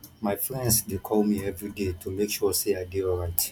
my friends dey call me everyday to make sure sey i dey alright